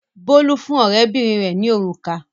Bólú fún ọ̀rẹ́bìnrin rẹ̀ ní òrùka.